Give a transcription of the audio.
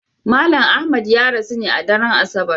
Malam Ahmad ya rasu ne a daren Asabar.